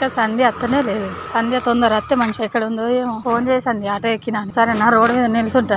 ఇంకా సంధ్య అతనే లేదు సంధ్య తొందర అత్తే మంచిగా ఎక్కడ ఉందొ ఏమో ఫోన్ చేయి సంధ్య ఆటో ఎక్కినాక సరేనా రోడ్ మీద నిల్సుంట